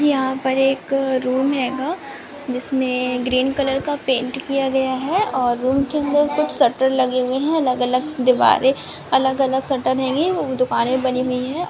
यहाँ पर एक रूम हैगा जिसमें ग्रीन कलर का पेंट किया गया हैं और रूम के अंदर कुछ शटर लगे हुए हैं अलग-अलग दिवाले अलग-अलग शटर हैंगै दुकाने बनी हुई हैं।